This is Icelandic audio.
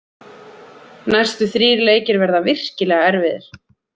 Næstu þrír leikir verða virkilega erfiðir.